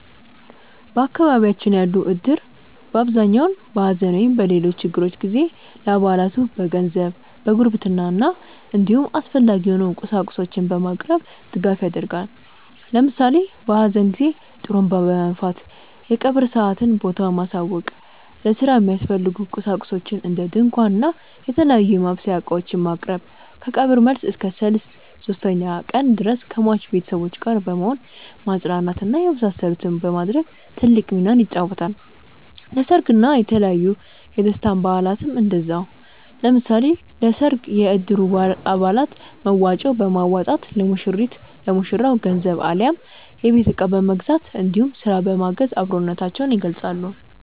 በአካባቢያችን ያለው እድር በአብዛኛው በሐዘን ወይም በሌሎች ችግሮች ጊዜ ለአባላቱ በገንዘብ፣ በጉርብትና እንዲሁም አስፈላጊ የሆኑ ቁሳቁሶችን በማቅረብ ድጋፍ ያደርጋል። ለምሳሌ በሀዘን ጊዜ ጡሩንባ በመንፋት የቀብር ሰአትና ቦታውን ማሳወቅ፣ ለስራ የሚያስፈልጉ ቁሳቁሶችን እንደ ድንኳን እና የተለያዩ የማብሰያ እቃዎችን ማቅረብ፣ ከቀብር መልስ እስከ ሰልስት (ሶስተኛ ቀን) ድረስ ከሟች ቤተሰቦች ጋር በመሆን ማፅናናት እና የመሳሰሉትን በማድረግ ትልቅ ሚናን ይጫወታል። ለሰርግ እና የተለያዩ የደስታ በአላትም እንደዛው። ለምሳሌ ለሰርግ የእድሩ አባላት መዋጮ በማዋጣት ለሙሽሪት/ ለሙሽራው ገንዘብ አሊያም የቤት እቃ በመግዛት እንዲሁም ስራ በማገዝ አብሮነታቸውን ይገልፃሉ።